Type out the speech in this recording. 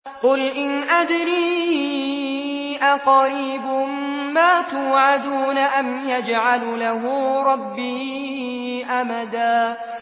قُلْ إِنْ أَدْرِي أَقَرِيبٌ مَّا تُوعَدُونَ أَمْ يَجْعَلُ لَهُ رَبِّي أَمَدًا